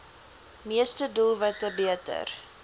meeste doelwitte beter